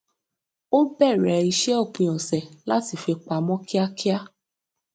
ó bẹrẹ iṣẹ òpin ọsẹ láti fi pamọ kíákíá